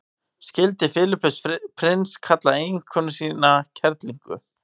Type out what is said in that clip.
skildi filippus prins kalla eiginkonuna kerlingu